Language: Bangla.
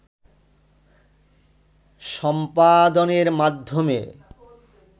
সম্পাদনের মাধ্যমে